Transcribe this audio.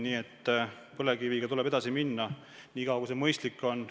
Nii et põlevkiviga tuleb edasi minna nii kaua, kui see mõistlik on.